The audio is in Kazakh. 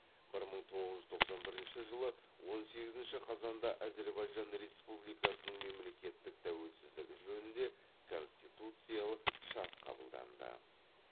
бір мың тоғыз жүз тоқсан бірінші жылы он сегізінші қазанда әзірбайжан республикасының мемлекеттік тәуелсіздігі жөнінде конституциялық шарт қабылданды